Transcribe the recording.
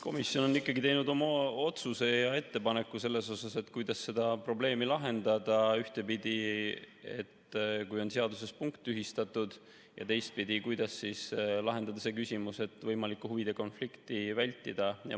Komisjon on ikkagi teinud oma otsuse ja ettepaneku, kuidas seda probleemi lahendada, ühtepidi, et kui on seaduses punkt tühistatud, ja teistpidi, kuidas lahendada see küsimus, et võimalikku huvide konflikti vältida.